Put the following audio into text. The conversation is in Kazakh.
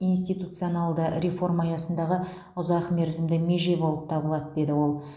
институционалды реформа аясындағы ұзақ мерзімді меже болып табылады деді ол